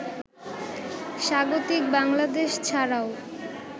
স্বাগতিক বাংলাদেশ ছাড়াও